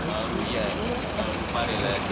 अ आहे रुपारेल आहे.